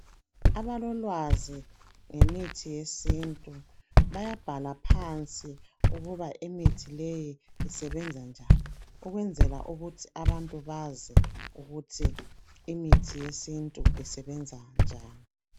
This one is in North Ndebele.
abalolwazi ngemithi yesintu bayabhala phansi ukuba imithi leyi isebenza njani ukwenzela ukuthi abantu bazi ukuthi imithi yesintu isebenza njani